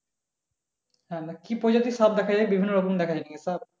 হ্যাঁ তা কি প্রজাতির সাপ দেখা যায় বিভিন্ন রকম দেখা যায় নাকি সাপ?